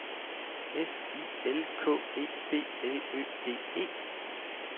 S I L K E B L Ø D E